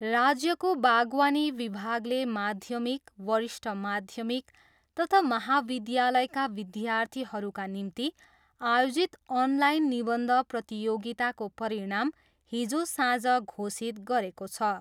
राज्यको बागवानी विभागले माध्यमिक, वरिष्ठ माध्यमिक तथा महाविद्यालयका विद्यार्थीहरूका निम्ति आयोजित अनलाइन निबन्ध प्रतियोगिताको परिणाम हिजो साँझ घोषित गरेको छ।